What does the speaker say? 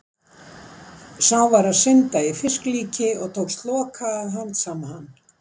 Sá var að synda í fisklíki og tókst Loka að handsama hann.